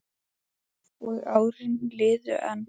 Og árin liðu enn.